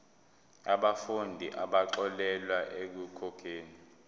yabafundi abaxolelwa ekukhokheni